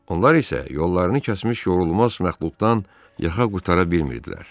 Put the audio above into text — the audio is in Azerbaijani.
Onlar isə yollarını kəsmiş yorulmaz məxluqdan yaxa qurtara bilmirdilər.